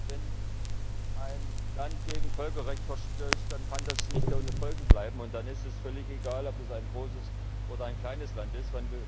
Wenn ein Land gegen Völkerrecht verstößt, dann kann das nicht ohne Folgen bleiben, und dann ist es völlig egal, ob es ein großes oder ein kleines Land ist.